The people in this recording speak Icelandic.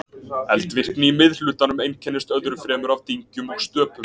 Eldvirkni í miðhlutanum einkennist öðru fremur af dyngjum og stöpum.